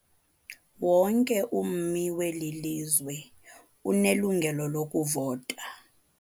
Wonke ummi weli lizwe unelungelo lokuvota.